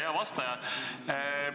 Ja hea vastaja!